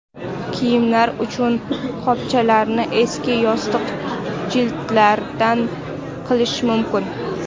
Kiyimlar uchun qopchalarni eski yostiq jildlaridan qilish mumkin.